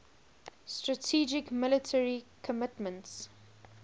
strategic military commitments